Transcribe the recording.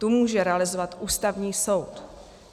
Tu může realizovat Ústavní soud.